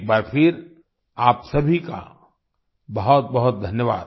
एक बार फिर आप सभी का बहुतबहुत धन्यवाद